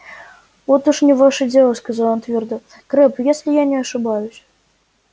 вот уж не ваше дело сказал он твёрдо крэбб если я не ошибаюсь